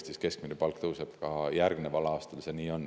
Nii et ka järgneval aastal rohkem, kui tõuseb Eestis keskmine palk.